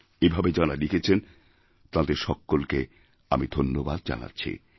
এভাবে যাঁরা লিখেছেন তাঁদের সকলকে আমি ধন্যবাদ জানাচ্ছি